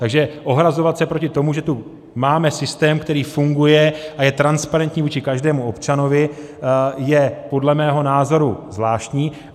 Takže ohrazovat se proti tomu, že tu máme systém, který funguje a je transparentní vůči každému občanovi, je podle mého názoru zvláštní.